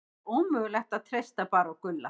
Það er ómögulegt að treysta bara á Gulla.